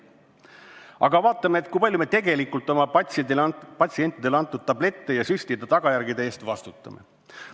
Aga vaatame, kui palju me tegelikult oma patsientidele antud tablettide ja süstide tagajärgede eest vastutame.